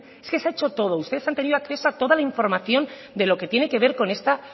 es que se ha hecho todo ustedes han tenido acceso a toda la información de lo que tiene que ver con esta